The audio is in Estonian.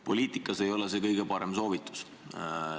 Poliitikas ei ole see kõige parem soovitus.